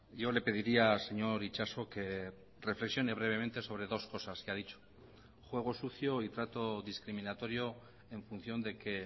yo le pediría señor itxaso que reflexione brevemente sobre dos cosas que ha dicho juego sucio y trato discriminatorio en función de que